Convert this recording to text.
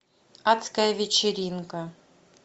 адская вечеринка